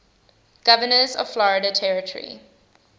governors of florida territory